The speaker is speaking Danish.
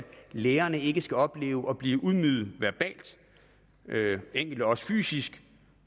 lærerne ikke skal opleve at blive ydmyget verbalt enkelte også fysisk